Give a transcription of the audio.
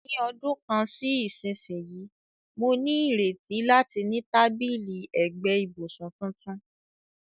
Ní ọdún kan sí ìsinsìnyí, mo ní ìrètí láti ní tábìlì ẹ̀gbẹ́ ibùsùn tuntun.